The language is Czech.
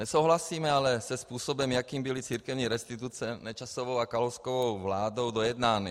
Nesouhlasíme ale se způsobem, jakým byly církevní restituce Nečasovou a Kalouskovou vládou dojednány.